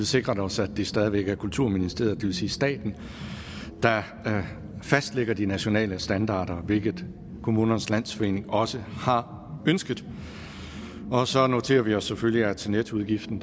sikret os at det stadig væk er kulturministeriet det vil sige staten der fastlægger de nationale standarder hvilket kommunernes landsforening også har ønsket så noterer vi os selvfølgelig at nettoudgiften